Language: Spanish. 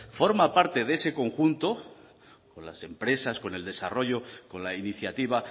forma parte de ese conjunto con las empresas con el desarrollo con la iniciativa